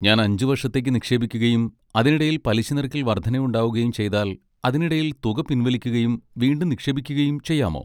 ഞാൻ അഞ്ച് വർഷത്തേക്ക് നിക്ഷേപിക്കുകയും അതിനിടയിൽ പലിശനിരക്കിൽ വർദ്ധനവുണ്ടാകുകയും ചെയ്താൽ, അതിനിടയിൽ തുക പിൻവലിക്കുകയും വീണ്ടും നിക്ഷേപിക്കുകയും ചെയ്യാമോ?